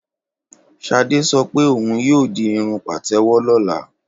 Ṣadé sọ pé òhun yóò di irun Pàtẹ́wọ́ lọ́la.